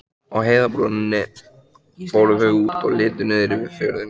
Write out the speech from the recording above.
Á heiðarbrúninni fóru þau út og litu niður yfir fjörðinn.